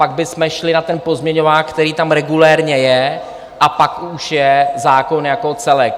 Pak bychom šli na ten pozměňovák, který tam regulérně je, a pak už je zákon jako celek.